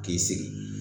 K'i sigi